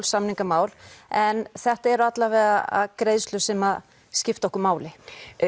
samningamál en þetta eru allavega greiðslur sem skipta okkur máli